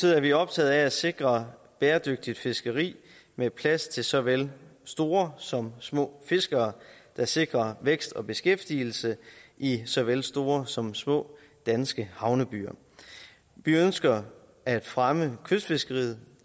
er vi optaget af at sikre bæredygtigt fiskeri med plads til så vel store som små fiskere der sikrer vækst og beskæftigelse i så vel store som små danske havnebyer vi ønsker at fremme kystfiskeriet